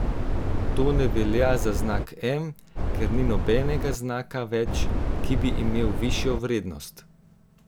To ne velja za znak M, ker ni nobenega znaka več, ki bi imel višjo vrednost.